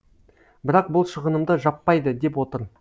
бірақ бұл шығынымды жаппайды деп отыр